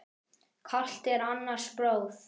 Kalt er annars blóð.